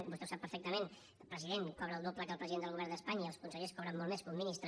i vostè ho sap perfectament president cobra el doble que el president del govern d’espanya i els consellers cobren molt més que un ministre